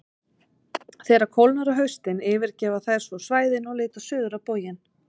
Þegar kólnar á haustin yfirgefa þær svo svæðin og leita suður á bóginn.